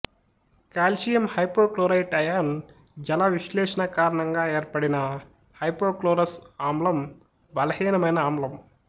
calcium hypochlorite ion జలవిశ్లేషణ కారణంగా ఏర్పడిన హైపోక్లోరస్ ఆమ్లం బలహీనమైన ఆమ్లం